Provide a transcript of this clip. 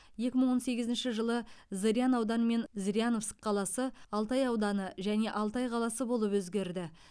екі мың он сегізінші жылы зырян ауданы мен зыряновск қаласы алтай ауданы және алтай қаласы болып өзгерді